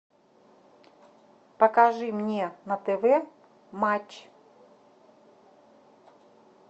покажи мне на тв матч